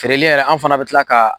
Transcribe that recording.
Feereli yɛrɛ an fana bi kila ka